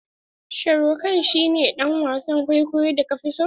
Sharukh khan shi ne dan wasan kwaikwayon da ka fi so?